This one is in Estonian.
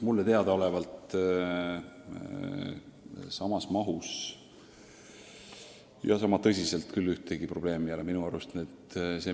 Mulle teadaolevalt sama tõsiselt mujal selline probleem päevakorral ei ole.